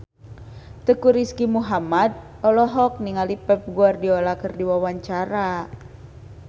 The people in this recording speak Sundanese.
Teuku Rizky Muhammad olohok ningali Pep Guardiola keur diwawancara